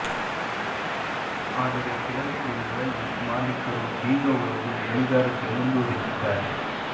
ಆದರೆ ಕೆಲವೇ ದಿನಗಳಲ್ಲಿ ಮಾಲೀಕರು ಬೀಗ ಒಡೆದು ಗಣಿಗಾರಿಕೆ ಮುಂದುವರಿಸಿದ್ದಾರೆ